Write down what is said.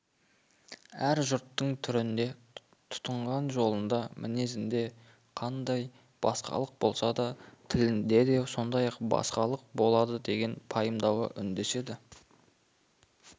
әр жұрттың түрінде тұтынған жолында мінезінде қандай басқалық болса тілінде де сондай басқалық болады деген пайымдауы үндеседі